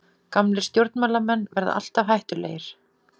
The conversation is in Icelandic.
Gamlir stjórnmálamenn verða alltaf hættulegir.